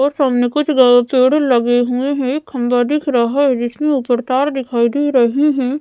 और सामने कुछ गा पेड़े लगे हुए हैं एक खंबा दिख रहा है जिसके ऊपर तार दिखाई दे रही है।